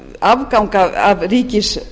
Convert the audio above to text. afgang að ríkissjóður